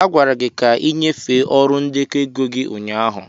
a gwara gị ka ị nyefee ọrụ ndekọ ego gị ụnyaahụ.